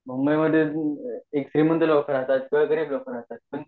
मुंबई मध्ये श्रीमंत लोक राहतात तर काही गरीब लोक राहतात